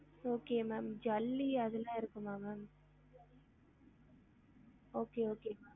Okay ma'am ஜல்லி அதுலா இருக்கும்மா ma'am okay okay